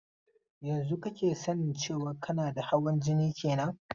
Yanzun kake sanin cewan kana da hawan jini kenan?